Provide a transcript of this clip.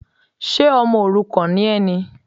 Ṣe ọmọ òrukàn ni ẹ ni?